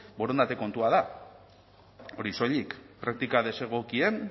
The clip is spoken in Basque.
borondate kontua da hori soilik praktika desegokien